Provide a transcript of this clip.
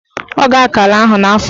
Ọ ga-akọ ala ahụ n'afọ ọzọ.